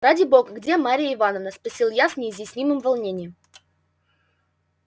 ради бога где марья ивановна спросил я с неизъяснимым волнением